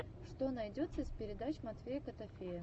что найдется из передач матвея котофея